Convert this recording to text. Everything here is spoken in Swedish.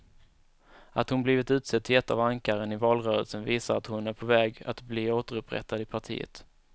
Att hon blivit utsedd till ett av ankaren i valrörelsen visar att hon är på väg att bli återupprättad i partiet.